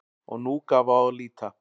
Og nú gaf á að líta.